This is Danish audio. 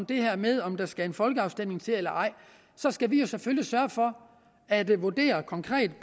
det her med om der skal en folkeafstemning til eller ej skal vi selvfølgelig sørge for at vurdere konkret